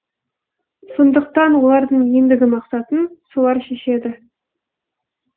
сондықтан олардың ендігі мақсатын солар шешеді